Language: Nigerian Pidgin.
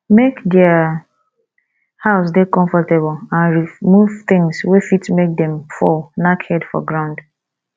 make their house dey comfortable and remove thongs wey fit make dem fall knack head for ground